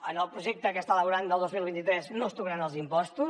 en el projecte que està elaborant del dos mil vint tres no es tocaran els impostos